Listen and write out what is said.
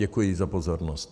Děkuji za pozornost.